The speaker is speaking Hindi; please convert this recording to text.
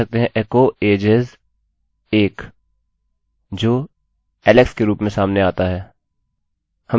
अतः अब हम कह सकते हैं echo ages one जो alex के रूप में सामने आता है